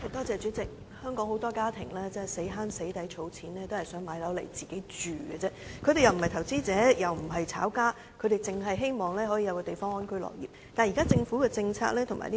主席，香港有很多家庭辛苦儲錢，只是想購買一個單位自住，他們並非投資者，也非"炒家"，只希望可以有一個安居樂業的居所。